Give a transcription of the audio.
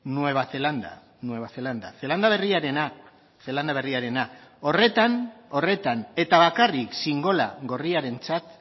nueva zelanda zelanda berriarenak horretan eta bakarrik xingola gorriarentzat